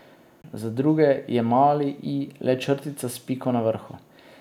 Za druge je mali i le črtica s piko na vrhu.